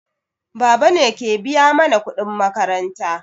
Baba ne ke biya mana kuɗin makaranta.